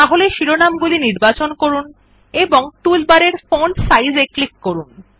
তাহলে শিরোনাম গুলি নির্বাচন করুন এবং টুলবারের ফন্ট সাইজ এ ক্লিক করুন